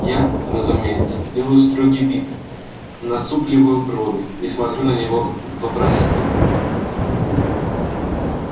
я разумеется делаю строгий вид насупливаю брови и смотрю на него вопросительно